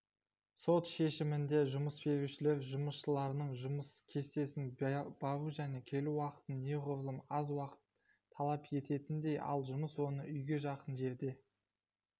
сот шемімінде жұмысберушілер жұмысшыларының жұмыс кестесін бару және келу уақытын неғұрлым аз уақыт талап ететіндей ал жұмыс орны уйге жақын жерде